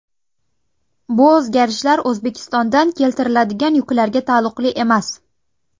Bu o‘zgarishlar O‘zbekistondan keltiriladigan yuklarga taalluqli emas.